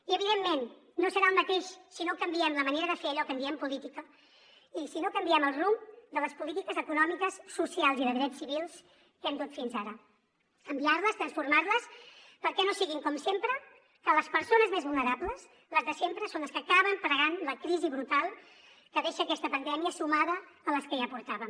i evidentment no serà el mateix si no canviem la manera de fer allò que en diem política i si no canviem el rumb de les polítiques econòmiques socials i de drets civils que hem dut fins ara canviar les transformar les perquè no sigui com sempre que les persones més vulnerables les de sempre són les que acaben pagant la crisi brutal que deixa aquesta pandèmia sumada a les que ja portàvem